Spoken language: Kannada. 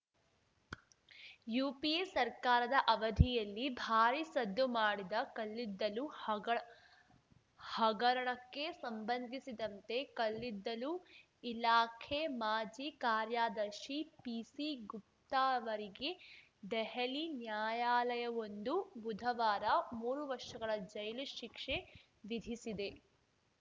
ಯುಪಿಎ ಸರ್ಕಾರದ ಅವಧಿಯಲ್ಲಿ ಭಾರಿ ಸದ್ದು ಮಾಡಿದ್ದ ಕಲ್ಲಿದ್ದಲು ಹಗ ಹಗರಣಕ್ಕೆ ಸಂಬಂಧಿಸಿದಂತೆ ಕಲ್ಲಿದ್ದಲು ಇಲಾಖೆ ಮಾಜಿ ಕಾರ್ಯದರ್ಶಿ ಪಿಸಿ ಗುಪ್ತಾ ಅವರಿಗೆ ದೆಹಲಿ ನ್ಯಾಯಾಲಯವೊಂದು ಬುಧವಾರ ಮೂರು ವರ್ಷಗಳ ಜೈಲು ಶಿಕ್ಷೆ ವಿಧಿಸಿದೆ